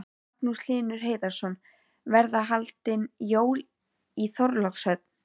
Magnús Hlynur Hreiðarsson: Verða haldin jól í Þorlákshöfn?